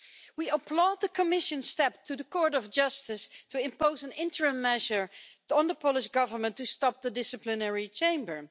We applaud the Commission's call to the Court of Justice to impose an interim measure on the Polish Government to stop the disciplinary chamber.